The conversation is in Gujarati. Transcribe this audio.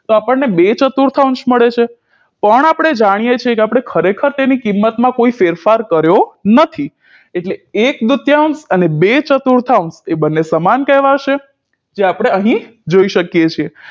તો આપણને બે ચતુરથનસ મળે છે પણ આપણે જાણીએ છે કે આપણે ખરેખર તેની કિમત માં કોઈ ફેરફાર કર્યો નથી એટલે એક દ્રુતયાન્સ અને બે ચતુર્થયાન્સ એ બંને સમાન કહેવાશે જે આપણે અહી જોઈ શકીએ છે